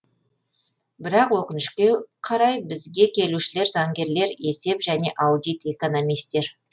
бірақ өкінішке қарай бізге келушілер заңгерлер есеп және аудит экономистер